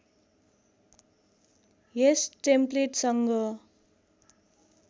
यस टेम्पलेटसँग